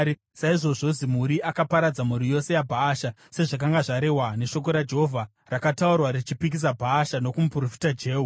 Saizvozvo Zimuri akaparadza mhuri yose yaBhaasha, sezvakanga zvarehwa neshoko raJehovha rakataurwa richipikisa Bhaasha nokumuprofita Jehu,